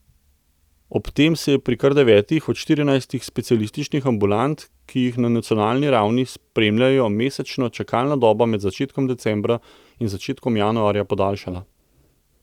Ob tem se je pri kar devetih od štirinajstih specialističnih ambulant, ki jih na nacionalni ravni spremljajo mesečno, čakalna doba med začetkom decembra in začetkom januarja podaljšala.